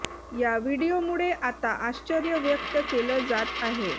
या व्हिडीओमुळे आता आश्चर्य व्यक्त केलं जात आहे